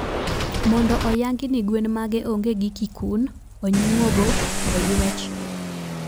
Mondo oyangi ni gwen mage onge gi kikun, onyuogo, oywech